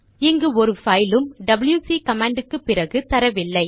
இங்கு ஒரு பைலும் டபில்யுசி கமாண்ட் க்குப் பிறகு தரவில்லை